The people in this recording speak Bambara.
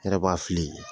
N yɛrɛ b'a fili